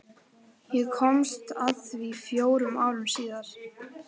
Ég komst að því fjórum árum síðar.